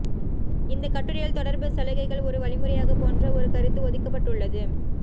இந்தக் கட்டுரையில் தொடர்பு சலுகைகள் ஒரு வழிமுறையாக போன்ற ஒரு கருத்து ஒதுக்கப்பட்டுள்ளது